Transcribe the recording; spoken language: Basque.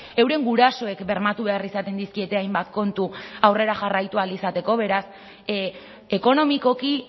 euren gurasoek bermatu behar izaten dizkiete hainbat kontu aurrera jarraitu ahal izateko beraz ekonomikoki